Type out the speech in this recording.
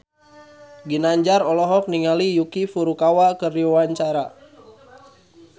Ginanjar olohok ningali Yuki Furukawa keur diwawancara